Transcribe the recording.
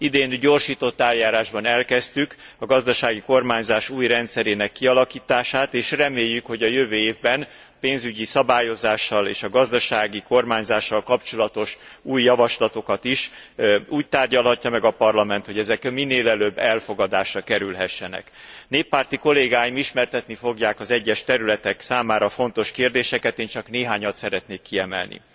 Idén gyorsított eljárásban elkezdtük a gazdasági kormányzás új rendszerének kialakítását, és reméljük, hogy a jövő évben pénzügyi szabályozással és a gazdasági kormányzással kapcsolatos új javaslatokat is úgy tárgyalhatja meg a Parlament, hogy ezek minél előbb elfogadásra kerülhessenek. Néppárti kollégáim ismertetni fogják az egyes területek számára fontos kérdéseket, én csak néhányat szeretnék kiemelni